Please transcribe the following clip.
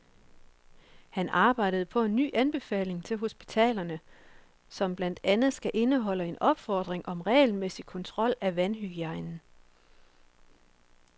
Han arbejder på en ny anbefaling til hospitalerne, som blandt andet skal indeholde en opfordring om regelmæssig kontrol af vandhygiejnen.